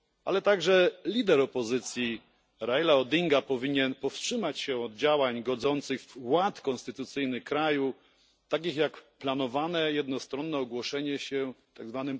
Ale także lider opozycji Raila Odinga powinien powstrzymać się od działań godzących w ład konstytucyjny kraju, takich jak planowane jednostronne ogłoszenie się tzw.